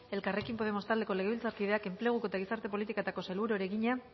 elkarrekin podemos taldeko legebiltzarkideak enplegu eta gizarte politiketako sailburuari egina